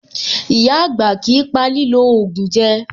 Ìyá-àgbà kìí pa lílò ògùn jẹ.